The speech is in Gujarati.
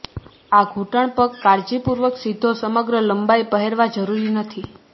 આ ઘૂંટણ પગ કાળજીપૂર્વક સીધો સમગ્ર લંબાઈ પહેરવા જરૂરી નથી